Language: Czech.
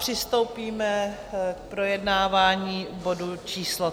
Přistoupíme k projednávání bodu číslo